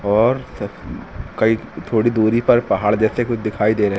और कई थोड़ी दूरी पर पहाड़ जैसे कुछ दिखाई दे रहे--